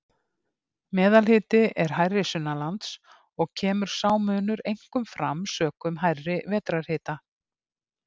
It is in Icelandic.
Meðalhiti er hærri sunnanlands og kemur sá munur einkum fram sökum hærri vetrarhita.